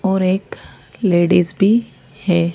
और एक लेडीज भी है।